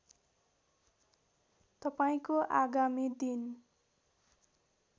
तपाईँको आगामी दिन